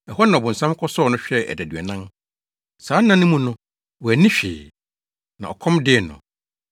Ɛhɔ na ɔbonsam kɔsɔɔ no hwɛɛ adaduanan. Saa nna no mu no, wanni hwee. Na ɔkɔm dee no.